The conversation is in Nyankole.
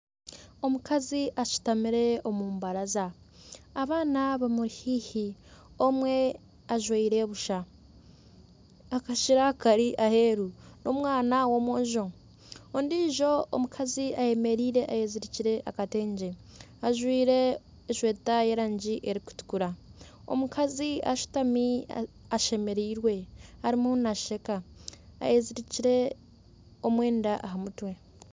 Omukazi ashutamire omu mbaraza, abaana bamuri haihi omwe ajwaire busha. Akashera kari aheeru, n'omwana w'omwojo. Ondiijo omukazi ayemereire ayezirikire akatengye. Ajwaire eshweta y'erangi erikutukura. Omukazi ashutami ashemereirwe arimu naasheka. Ayezirikire omwenda aha mutwe.